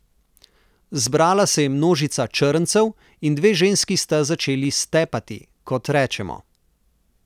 Zbrala se je množica črncev in dve ženski sta začeli stepati, kot rečemo.